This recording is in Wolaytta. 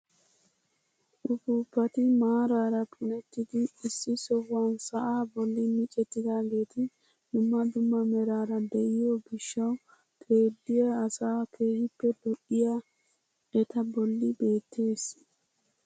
Upuupati maarara punettidi issi sohuwaan sa'aa bolli micettidageti dumma dumma meraara de'iyoo giishshawu xeelliyaa asaa keehippe lo"iyaa eta bolli beettees.